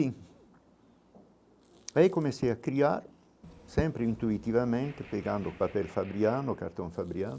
Aí, comecei a criar, sempre intuitivamente, pegando papel fabriano, cartão fabriano,